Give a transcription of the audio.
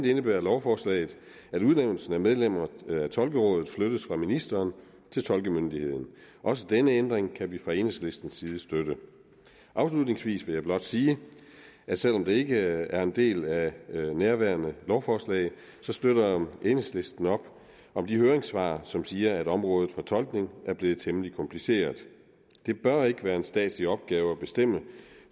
indebærer lovforslaget at udnævnelsen af medlemmer af tolkerådet flyttes fra ministeren til tolkemyndigheden også denne ændring kan vi fra enhedslistens side støtte afslutningsvis vil jeg blot sige at selv om det ikke er en del af nærværende lovforslag støtter enhedslisten op om de høringssvar som siger at området for tolkning er blevet temmelig kompliceret det bør ikke være en statslig opgave at bestemme